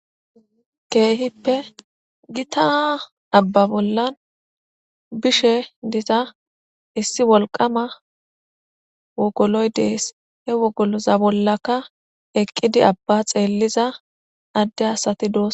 Keehippe gita abba bollan bishe diza issi wolqama wogoloy dees he wogoloza bollaka eqqidi abba xeelliza adde asati doos.